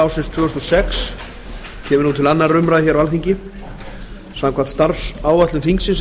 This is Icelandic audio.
sex kemur nú til annarrar umræðu á alþingi samkvæmt starfsáætlun þingsins er